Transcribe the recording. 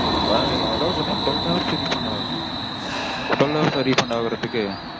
அதாவது பாத்தீங்கனா twelve hours refund hours mam. twelve hours -ஆ refund ஆகறதுக்கு?